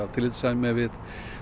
tillitssemi við